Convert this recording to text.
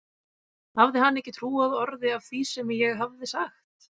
Hafði hann ekki trúað orði af því sem ég hafði sagt?